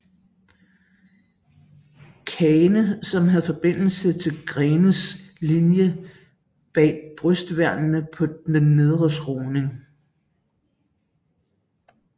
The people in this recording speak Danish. Kane som havde forbindelse til Greenes linje bag brystværnene på den nedre skråning